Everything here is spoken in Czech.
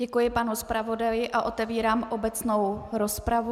Děkuji panu zpravodaji a otevírám obecnou rozpravu.